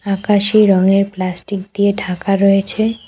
আকাশি রংয়ের প্লাস্টিক দিয়ে ঢাকা রয়েছে।